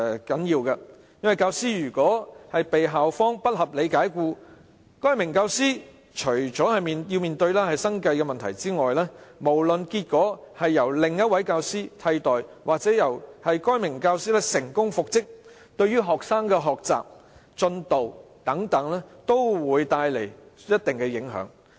教師被校方不合理解僱，除了該名教師要面對生計問題外，無論該名教師被另一位教師替代或能成功復職，均會對學生的學習和其他進度造成一定的影響。